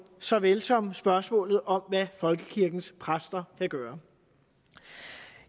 såvel som spørgsmålet om hvad folkekirkens præster vil gøre